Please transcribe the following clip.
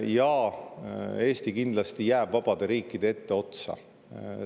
Ja Eesti kindlasti jääb vabade riikide etteotsa.